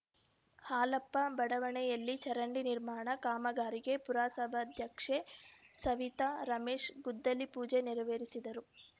ಹಾಲಪ್ಪ ಬಡಾವಣೆಯಲ್ಲಿ ಚರಂಡಿ ನಿರ್ಮಾಣ ಕಾಮಗಾರಿಗೆ ಪುರಸಭಾಧ್ಯಕ್ಷೆ ಸವಿತಾ ರಮೇಶ್‌ ಗುದ್ದಲಿ ಪೂಜೆ ನೆರವೇರಿಸಿದರು